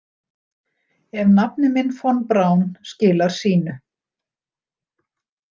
Ef nafni minn Von Braun skilar sínu.